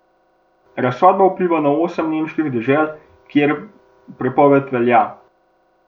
Razsodba vpliva na osem nemških dežel, kjer prepoved velja.